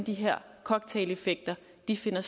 vi ser